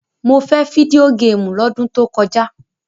Mo fẹ́ fídíò géémù lọ́dún tó kọjá!